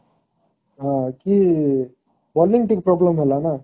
କି bowling ଠି problem ହେଲା ନା